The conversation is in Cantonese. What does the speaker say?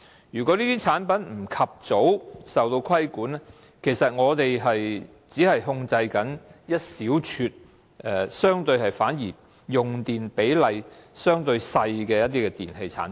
如果這些產品不及早受到規管，我們只是在管制一小撮用電量相對少的電器產品。